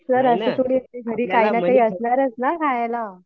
Sir घरी काही ना काही असणारच ना खायला.